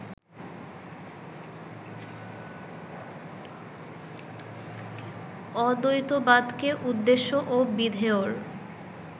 অদ্বৈতবাদকে উদ্দেশ্য ও বিধেয়র